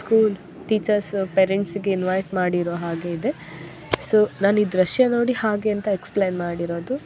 School teachers parents ಗೆ invite ಮಾಡಿರೊ ಹಾಗೆ ಇದೆ ಸೊ ನಾನ್ ಈ ದೃಶ್ಯ ನೋಡಿ ಹಾಗೆ ಅಂತ ಎಕ್ಸ್ಪ್ಲೇನ್ ಮಾಡಿರೋದು .